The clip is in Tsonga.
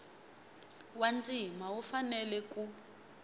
wa ndzima wu fanele ku